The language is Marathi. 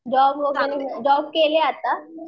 जॉब वगैरे जॉब केलीये आता?